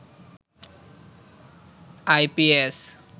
IPS